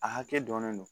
A hakɛ dɔnnen don